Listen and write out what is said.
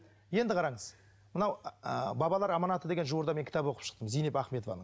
енді қараңыз мынау ыыы бабалар аманаты деген жуырда мен кітап оқып шықтым зейнеп ахметованың